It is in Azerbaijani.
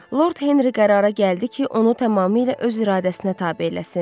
Lord Henri qərara gəldi ki, onu tamamilə öz iradəsinə tabe eləsin.